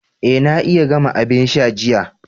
Eh na iya gama abin sha jiya.